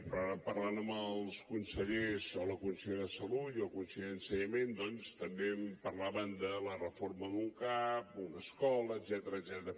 però ara parlant amb els consellers o la consellera de salut i el conseller d’ensenyament doncs també em parlaven de la reforma d’un cap una escola etcètera